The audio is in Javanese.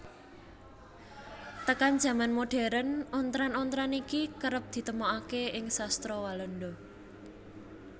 Tekan jaman modern ontran ontran iki kerep ditemokaké ing sastra Walanda